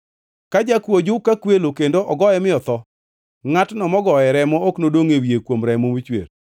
“Ka jakuo ojuk kakwelo kendo ogoye mi otho, ngʼatno mogoye remo ok nodongʼ e wiye kuom remo mochwer;